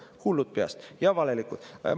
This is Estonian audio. Hullud peast ja valelikud!